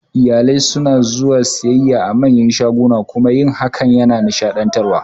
Iyalai suna zuwa siyayya a manyan shaguna kuma yin hakan yana nishaɗantarwa